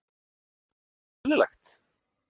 Er það ekki eðlilegt?